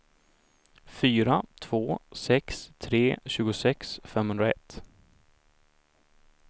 fyra två sex tre tjugosex femhundraett